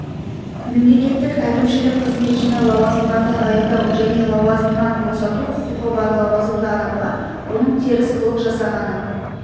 мемлекеттік әкімшілік қызметшіні лауазымға тағайындау және лауазымнан босату құқығы бар лауазымды адамға оның теріс қылық жасағаны